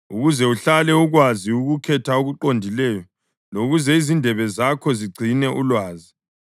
ukuze uhlale ukwazi ukukhetha okuqondileyo lokuze izindebe zakho zigcine ulwazi.